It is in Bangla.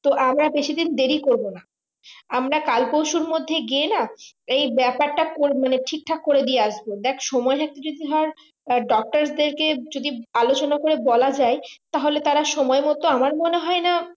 তো আমরা বেশি দিন দেরি করবো না আমরা কাল পরশু মধ্যে গিয়ে না এই ব্যাপারতাটা মানে ঠিক ঠাক করে দিয়ে আসবো দেখ সময় থাকতে যদি হয় doctor দের কে যদি আলোচনা করে বলা যাই তাহলে তারা সময় মতো আমার মনে হয় না